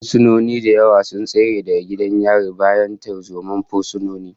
Fursunoni da yawa sun tsere daga gidan yarin bayan tarzomar fursunonin